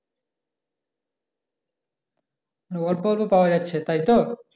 অল্প অল্প পাওয়া যাচ্ছে তাই তো